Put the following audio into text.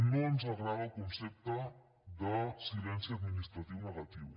no ens agrada el concepte de silenci administratiu negatiu